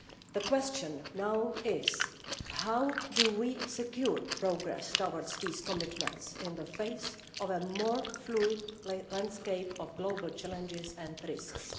The question now is how we secure progress towards these commitments in the face of a more fluid landscape of global challenges and risks.